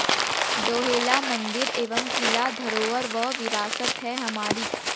डोहेला मंदिर एवं किला धरोहर व विरासत है हमारी